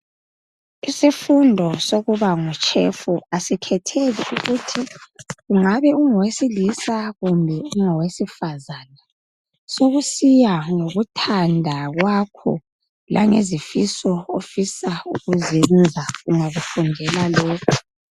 Isifundo sokuba ngutshefu asikhethile ukuthi ungabe ongowesilisa kumbe ungawesifazana. Sokusiya ngokuthanda kwakho, langezifiso ofisa ukuziyenza ungakufundela lokhu.